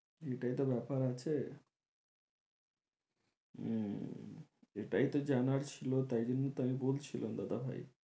এটাই তো ব্যাপার আছে উম এটাই তো জানার ছিলো, তাই জন্য তো আমি বলছিলাম দাদা ভাই